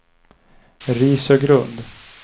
Risögrund